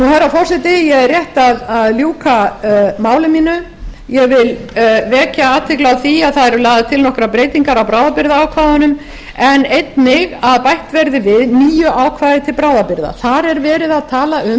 herra forseti ég er rétt að ljúka máli mínu ég vil vekja athygli á því að það eru lagðar til nokkrar breytingar á bráðabirgðaákvæðunum en einnig að bætt verði við nýju ákvæði til bráðabirgða þar er verið að tala um